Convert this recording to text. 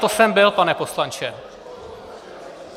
To jsem byl, pane poslanče.